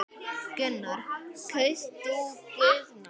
Gunnar: Kaust þú Guðna?